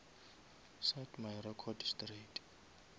set my record straight